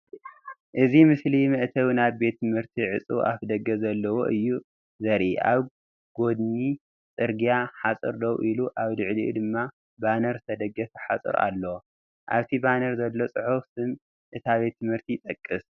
እዚ ምስሊ መእተዊ ናይ ሓደ ቤት ትምህርቲ ዕጹው ኣፍደገ ዘለዎ እዩ ዘርኢ። ኣብ ጐድኒ ጽርግያ ሓጹር ደው ኢሉ ኣብ ልዕሊኡ ድማ ባነር ዝተደገፈ ሓጹር ኣሎ። ኣብቲ ባነር ዘሎ ጽሑፍ ስም እታ ቤት ትምህርቲ ይጠቅስ።